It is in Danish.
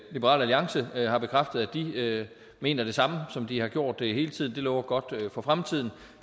liberal alliance har bekræftet at de mener det samme som de har gjort hele tiden det lover godt for fremtiden